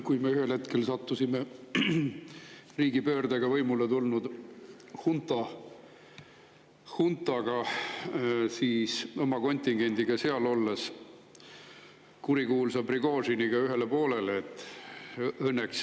Ühel hetkel sattusime seal oma kontingendiga riigipöörde abil võimule tulnud hunta ajal kurikuulsa Prigožiniga ühele poolele.